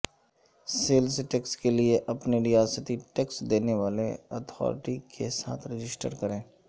sales tax کے لئے اپنی ریاستی ٹیکس دینے والے اتھارٹی کے ساتھ رجسٹر کریں